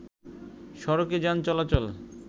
সড়কে যান চলাচল